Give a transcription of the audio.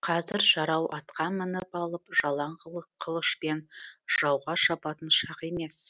қазір жарау атқа мініп алып жалаң қылышпен жауға шабатын шақ емес